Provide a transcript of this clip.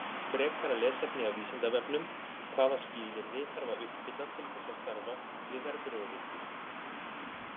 Frekara lesefni af Vísindavefnum: Hvaða skilyrði þarf að uppfylla til þess að starfa við verðbréfaviðskipti?